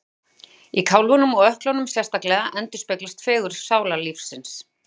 Í kálfunum og ökklunum sérstaklega endurspeglast fegurð sálarlífsins.